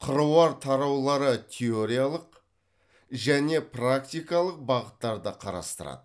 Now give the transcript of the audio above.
қыруар тараулары теориялық және практикалық бағыттарды қарастырады